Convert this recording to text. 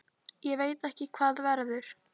Ég veit ekki hvað verður.